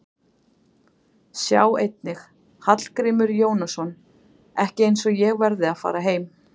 Sjá einnig: Hallgrímur Jónasson: Ekki eins og ég verði að fara heim